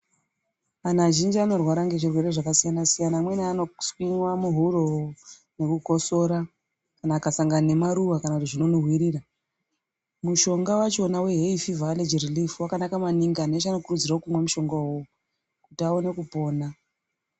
Antu azhinji anorwara ngezvirwere zvakasiya-siyana amweni anoswinyiva muhuro nekukosora. Kana akasangana nemaruva zvino zvinonhuvirira. Mushonga vachona vehefivha aleji ririfi vakanaka maningi antu eshe anokurudzirwa kumwa mushonga ivovo kuti aone kupona